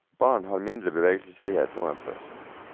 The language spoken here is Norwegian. Barn har mindre bevegelsesfrihet nå enn før.